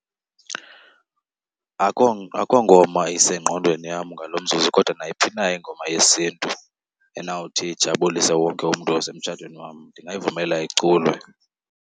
Akho ngoma isengqondweni yam ngalo mzuzu kodwa nayiphi na ingoma yesiNtu enawuthi ijabulise wonke umntu osemtshatweni wam ndingayivumela iculwe.